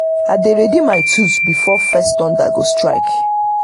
i dey ready my tools before first thunder go strike.